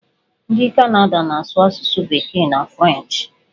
Ndị Kanada na-asụ asụsụ bekee na frenchị.